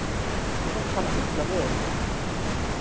Hún kann illa við þetta.